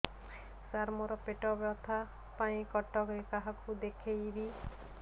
ସାର ମୋ ର ପେଟ ବ୍ୟଥା ପାଇଁ କଟକରେ କାହାକୁ ଦେଖେଇବି